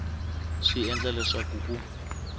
swi ta endla leswaku ku